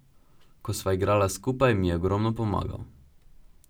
Ko sva igrala skupaj, mi je ogromno pomagal.